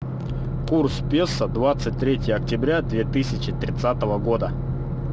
курс песо двадцать третье октября две тысячи тридцатого года